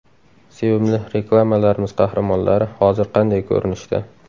Sevimli reklamalarimiz qahramonlari hozir qanday ko‘rinishda?